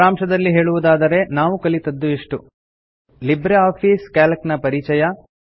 ಸಾರಾಂಶದಲ್ಲಿ ಹೇಳುವುದಾದರೆ ನಾವು ಕಲಿತದ್ದು ಇಷ್ಟು ಲಿಬ್ರೆ ಆಫೀಸ್ ಕ್ಯಾಲ್ಕ್ ನ ಪರಿಚಯ